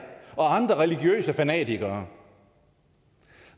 og andre religiøse fanatikere